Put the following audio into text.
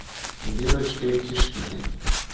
верочкой тишкиной